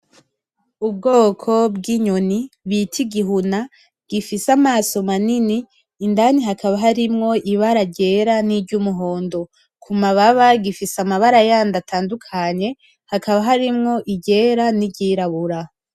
Ubwoko bw'inyoni bita igihuna, gifise Amaso manini indani hakaba harimwo Ibara ryera, niry'umuhondo kumababa gifise mabara yandi atandukanye hakaba harimwo iryera n'iryirabura.